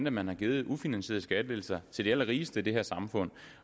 at man har givet ufinansierede skattelettelser til de allerrigeste i det her samfund